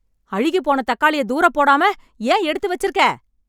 அழுகிப் போன தக்காளிய தூரப்போடாம, ஏன் எடுத்து வெச்சிருக்கே...